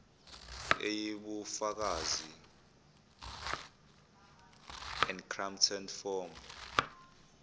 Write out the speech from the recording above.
eyibufakazi encrypted form